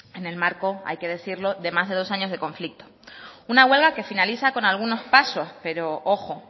en el marco hay que decirlo de más de dos años de conflicto una huelga que finaliza con algunos pasos pero ojo